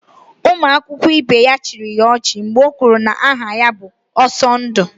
Ụmụ akwụkwọ ibe ya chịrị ya ọchị mgbe o kwuru na aha ya bụ Ọsọndụ